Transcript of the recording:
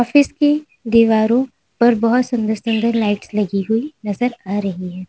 इसकी दीवारों पर बहोत सुंदर सुंदर लाइट्स लगी हुई नजर आ रही।